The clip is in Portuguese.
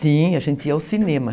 Sim, a gente ia ao cinema.